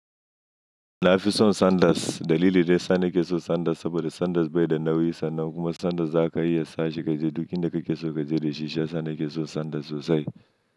Na fi son Sanders. Dalili daya sa na ke so Sanders saboda Sanders bai da nauyi sannan kuma Sanders za ka iya sa shi ka je duk inda kake so ka je da shi. Shiya sa na ke so Sanders sosai.